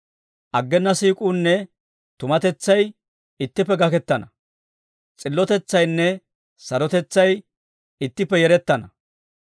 Aggena siik'uunne tumatetsay ittippe gakkettana. S'illotetsaynne sarotetsay, ittippe yerettana.